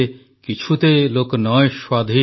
କିଛୁତେ ଲୋକ ନଁୟ ସ୍ୱାଧୀନ